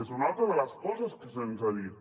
és una altra de les coses que se’ns ha dit